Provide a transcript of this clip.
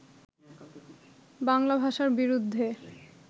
বাংলা ভাষার বিরুদ্ধে